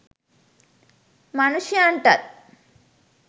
මනුෂ්‍යයන්ටත්